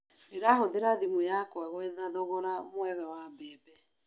Ndĩrahũthĩra thimũ yakwa gwetha thogora mwega wa mbembe